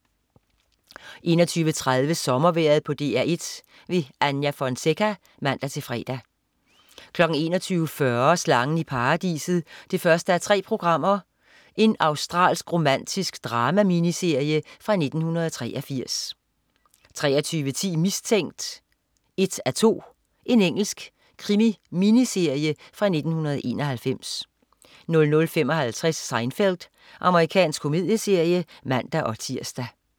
21.30 Sommervejret på DR1. Anja Fonseca (man-fre) 21.40 Slangen i Paradiset 1:3. Australsk romantisk drama-miniserie fra 1983 23.10 Mistænkt 1:2. Engelsk krimi-miniserie fra 1991 00.55 Seinfeld. Amerikansk komedieserie (man-tirs)